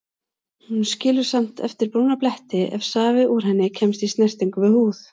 Hún skilur samt eftir brúna bletti ef safi úr henni kemst í snertingu við húð.